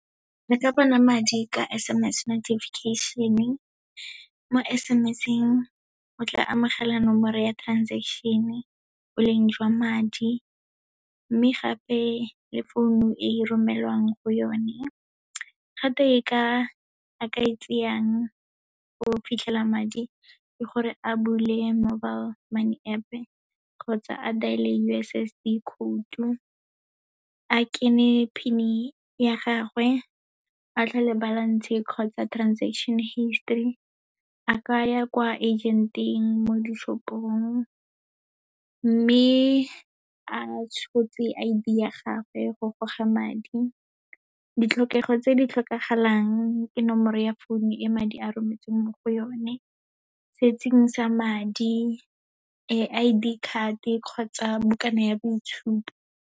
Re ka bona madi ka S_M_S notifiction-e. Mo S_M_S-eng, o tla amogela nomoro ya transaction-e, boleng jwa madi, mme gape le founu e romelwang go yone. Gape, a ka e tseyang go fitlhela madi, ke gore a bule mobile money App-e, kgotsa a dial-e U_S_S_D code-o, a kene PIN ya gagwe, a tlhole balance kgotsa transaction history, a kaya kwa agent-e mo dishopong, mme a tshotse I_D ya gage, go goga madi. Ditlhokego tse di tlhokagalang, ke nomoro ya phone-o e madi a rometsweng mo go yone, setseng sa madi, I_D card-e kgotsa bukana ya boitshupo.